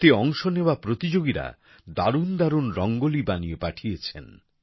এতে অংশ নেওয়া প্রতিযোগীরা দারুণ দারুণ রঙ্গোলি বানিয়ে পাঠিয়েছেন